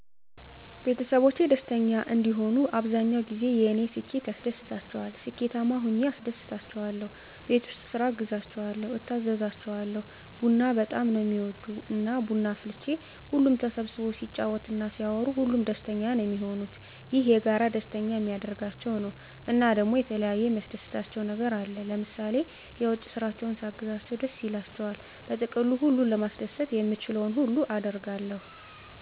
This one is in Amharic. ቤተሰቦቼ ደስተኛ እንዲሆኑ አብዛኛዉ ጊዜ የኔ ስኬት ያስደስታቸዋል ስኬታማ ሁኘ አስደስታቸዋለሁ፣ ቤት ዉስጥ ስራ አግዛቸዋለሁ፣ እታዘዛቸዋለሁ፣ ቡና በጣም ነዉ እሚወዱ እና ቡና አፍልቼ ሁሉም ተሰብስቦ ሲጫወት እና ሲያወሩ ሁሉም ደስተኛ ነዉ እሚሆኑት፣ ይሄ የጋራ ደስተኛ እሚያደርጋቸዉ ነዉ። እና ደሞ የተለያየ የሚያስደስታቸዉ ነገር አለ ለምሳሌ የዉጭ ስራቸዉን ሳግዛቸዉ ደስ ይላቸዋል። በጥቅሉ ሁሉን ለማስደሰት የምችለዉን ነገር ሁሉ አደርጋለሁ።